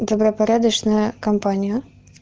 добропорядочная компания